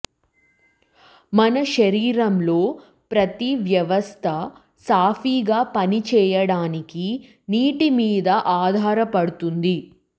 మన శరీరంలో ప్రతి వ్యవస్థ సాఫీగా పనిచేయడానికి నీటి మీద ఆధారపడుతుంది